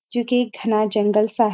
जो कि एक घना जंगल सा हैं।